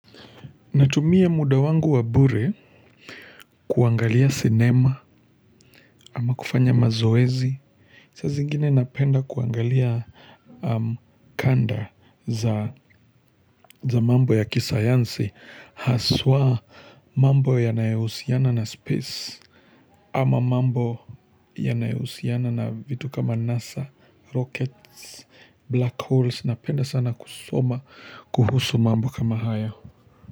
Natumia muda wangu wa bure kuangalia cinema ama kufanya mazoezi. Saa zingine napenda kuangalia kanda za mambo ya kisayansi. Haswa mambo yanayohusiana na space. Ama mambo ya naehusiana na vitu kama NASA, rockets, black holes. Napenda sana kusoma kuhusu mambo kama haya.